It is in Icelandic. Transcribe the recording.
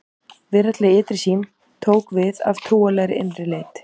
Veraldleg ytri sýn tók við af trúarlegri innri leit.